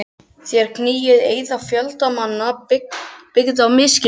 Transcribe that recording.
Þér knýið fram eiða fjölda manna, byggða á misskilningi.